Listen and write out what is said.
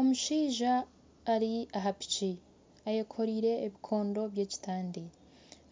Omushaija ari aha piki ayekoreire ebikondo by'ekitande